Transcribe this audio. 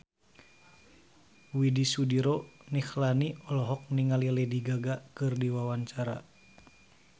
Widy Soediro Nichlany olohok ningali Lady Gaga keur diwawancara